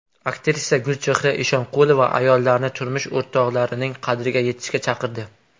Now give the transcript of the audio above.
Aktrisa Gulchehra Eshonqulova ayollarni turmush o‘rtoqlarining qadriga yetishga chaqirdi.